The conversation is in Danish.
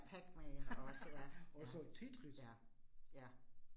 Pac-Man også ja. Ja, ja, ja